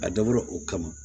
A dabɔra o kama